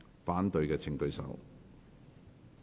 反對的請舉手。